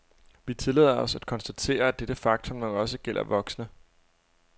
Vi tillader os at konstatere, at dette faktum nok også gælder voksne.